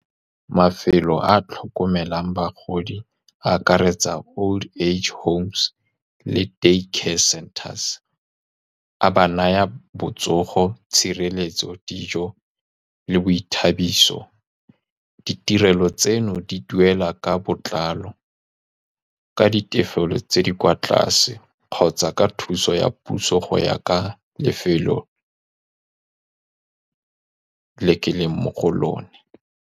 Mafelo a a tlhokomelang bagodi a akaretsa old age homes le di-day care centres, a ba naya botsogo, tshireletso, dijo le boithabiso. Ditirelo tseno di duela ka botlalo ka ditefelelo tse di kwa tlase kgotsa ka thuso ya puso, go ya ka lefelo le keleng mo go lone.